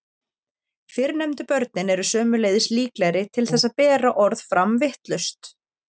Fyrrnefndu börnin eru sömuleiðis líklegri til þess að bera orð fram vitlaust.